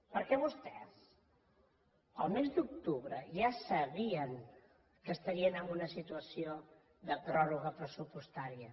perquè vostès el mes d’octubre ja sabien que estarien en una situació de pròrroga pressupostària